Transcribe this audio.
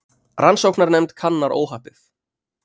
Rannsóknarnefnd kannar óhappið